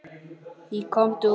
Í Komdu út!